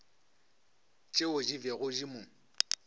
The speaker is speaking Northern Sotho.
tšeo di bego di mo